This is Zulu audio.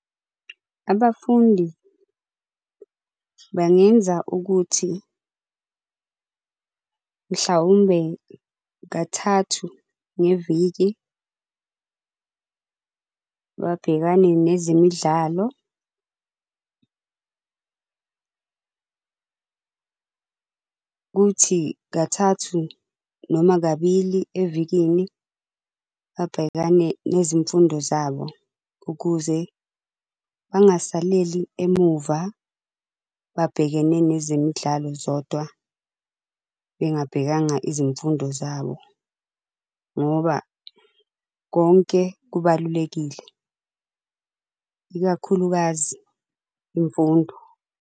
Abafundi bangenza ukuthi mhlawumbe kathathu ngeviki, babhekane nezemidlalo kuthi kathathu noma kabili evikini, babhekane nezimfundo zabo. Ukuze bangasaleli emuva, babhekene nezemidlalo zodwa bengabhekanga izimfundo zabo. Ngoba konke kubalulekile, ikakhulukazi imfundo.